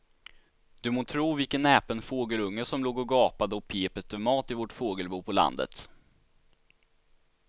Du må tro vilken näpen fågelunge som låg och gapade och pep efter mat i vårt fågelbo på landet.